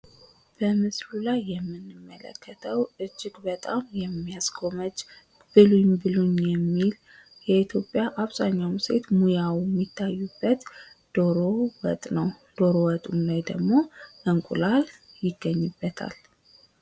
በምስሉ ላይ የምንመለከተው እጅግ በጣም የሚያስጎመጅ ብሉኝ ብሉኝ የሚል የኢትዮጵያ የአብዛኛው ሴት ሞያ የሚታይበት ዶሮ ወጥ ነው። ዶሮ ወጡ ላይ እንቁላል ይታይበታል ።